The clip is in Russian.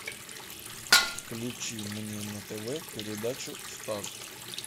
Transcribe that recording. включи мне на тв передачу старт